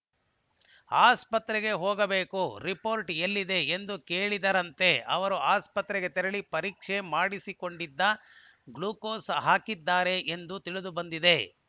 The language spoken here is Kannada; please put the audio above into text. ಆಸ್ಪತ್ರೆಗೆ ಹೋಗಬೇಕು ರಿಪೋರ್ಟ್‌ ಎಲ್ಲಿದೆ ಎಂದು ಕೇಳಿದರಂತೆ ಅವರು ಆಸ್ಪತ್ರೆಗೆ ತೆರಳಿ ಪರೀಕ್ಷೆ ಮಾಡಿಸಿಕೊಂಡಿದ್ದು ಗ್ಲೂಕೋಸ್‌ ಹಾಕಿದ್ದಾರೆ ಎಂದು ತಿಳಿದುಬಂದಿದೆ